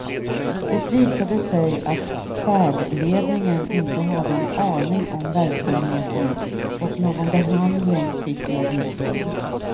Det visade sig att färdledningen inte hade en aning om verksamheten och någon behandling fick jag inte.